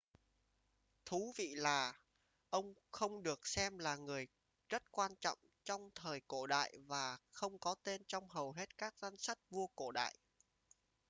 thú vị là ông không được xem là người rất quan trọng trong thời cổ đại và không có tên trong hầu hết các danh sách vua cổ đại